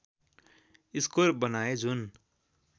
score बनाए जुन